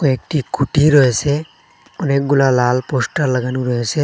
একটি খুঁটি রয়েসে অনেকগুলা লাল পোস্টার লাগানো রয়েসে।